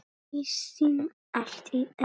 Kristín allt í einu.